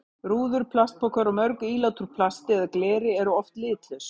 Rúður, plastpokar og mörg ílát úr plasti eða gleri eru oft litlaus.